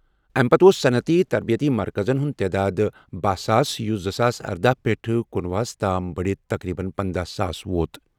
اَمہِ پتہٕ اوس صنعتی تربیتی مرکزَن ہُنٛد تعداد بہَہ ساس، یُس زٕ ساس ارَدہ پیٹھ کنُۄہُ ہَس تام بَڑِتھ تقریباً پندَہ ساس ووت۔